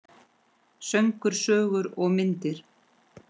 Söngur, sögur og myndir.